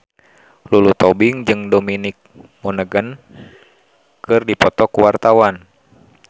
Lulu Tobing jeung Dominic Monaghan keur dipoto ku wartawan